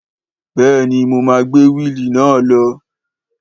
Béèni mo ma gbé wíili náà lọ